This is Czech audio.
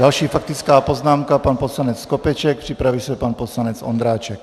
Další faktická poznámka, pan poslanec Skopeček, připraví se pan poslanec Ondráček.